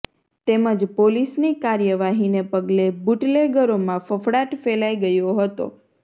તેમ જ પોલીસની કાર્યવાહીને પગલે બુટલેગરોમાં ફફડાટ ફેલાઈ ગયો હતો